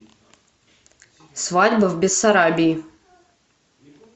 свадьба в бессарабии